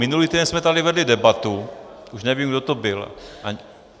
Minulý týden jsme tady vedli debatu, už nevím, kdo to byl.